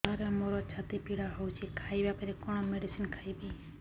ସାର ମୋର ଛାତି ପୀଡା ହଉଚି ଖାଇବା ପରେ କଣ ମେଡିସିନ ଖାଇବି